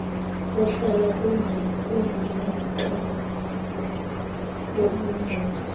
kohlala kunomaka bobungcweti